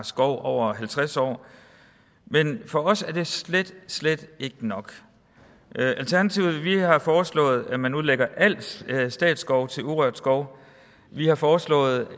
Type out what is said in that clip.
skov over halvtreds år men for os er det slet slet ikke nok alternativet har foreslået at man udlægger al statsskov til urørt skov vi har foreslået